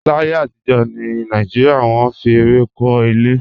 Láyé àtijọ́ ní Nàìjíríà, wọ́n fi ẹrẹ̀ kọ́ ilé